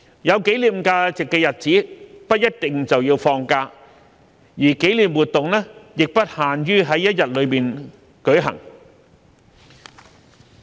有紀念價值的日子，不一定就要放假，而紀念活動亦不限於在一日內舉行。